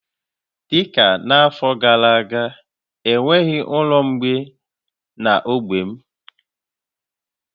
Dị ka afọ gara aga, e nweghị ụlọ ụmụ mgbei na ogbe m